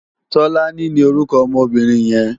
Tolani ni órúkò òmò óbìrín yèn